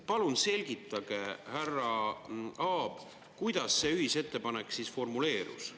Palun selgitage, härra Aab, kuidas see ühisettepanek formuleerus.